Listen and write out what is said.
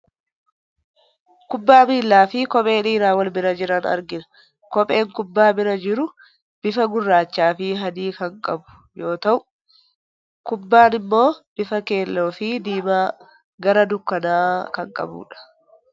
Kubbaa miilaa fi kophee dhiiraa wal bira jiran argina. Kopheen kubbaa bira jiru, bifa gurraachaa fi adii kan qabu yoo ta'u, kubbaan immoo bifa keelloo fi diimaa gara dukkanaa kan qabudha.